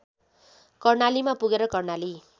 कर्णालीमा पुगेर कर्णाली